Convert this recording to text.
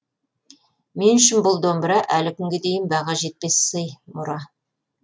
мен үшін бұл домбыра әлі күнге дейін баға жетпес сый мұра